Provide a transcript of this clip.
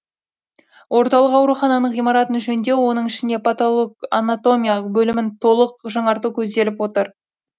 орталық аурухананың ғимаратын жөндеу оның ішінде патологоанатомия бөлімін толық жаңарту көзделіп отыр